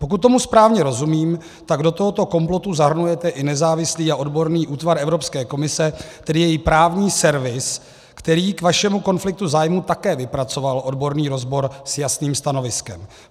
Pokud tomu správně rozumím, tak do tohoto komplotu zahrnujete i nezávislý a odborný útvar Evropské komise, tedy její právní servis, který k vašemu konfliktu zájmu také vypracoval odborný rozbor s jasným stanoviskem.